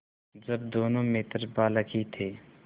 जब दोनों मित्र बालक ही थे